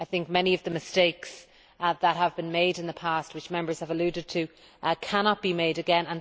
Many of the mistakes that have been made in the past, which Members have alluded to, cannot be made again.